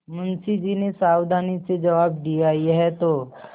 मुंशी जी ने सावधानी से जवाब दियायह तो